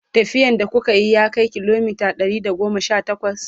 tafiyan da kukayi ya Kai kilomita Ɗari da goma Sha takwas?